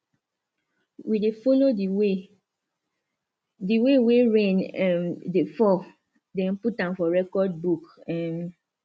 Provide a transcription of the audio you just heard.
we dey follow di way di way wey rain um dey fall den put am for recordbook um